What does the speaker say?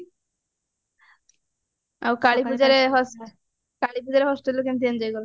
ଆଉ କାଳୀ ପୂଜାରେ ହସ କାଳୀ ପୂଜାରେ hostelରେ କେମତି enjoy କଲ